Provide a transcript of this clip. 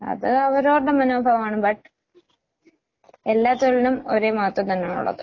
അത് അവരവർടെ മനോഭാവമാണ്. ബട്ട് എല്ലാ തൊഴിലിനും ഒരേ മഹത്വം തന്നാണൊള്ളത്.